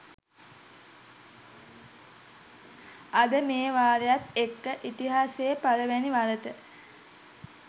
අද මේ වරායත් එක්ක ඉතිහාසයේ පළමුවැනි වරට